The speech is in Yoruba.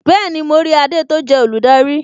Bẹẹni, mo rí adé tó jẹ́ olùdarí